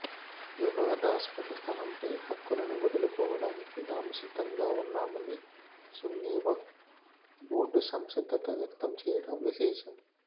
వివాదాస్పద స్థలంపై హక్కులను వదులుకోడానికి తాము సిద్ధంగా ఉన్నామని సున్నీ వక్ఫ్ బోర్డు సంసిద్ధత వ్యక్తం చేయడం విశేషం